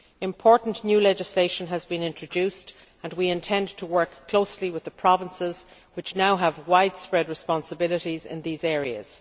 Important new legislation has been introduced and we intend to work closely with the provinces, which now have widespread responsibilities in these areas.